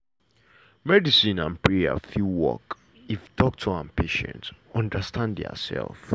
medicine and prayer fit work if doctor and patient understand diasef.